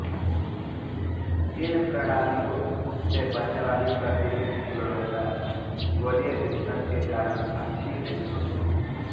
इन प्रणालियों से बनने वाली प्रतिबिम्ब की गुणवत्ता गोलीय विपथन के कारण अच्छी नहीं होती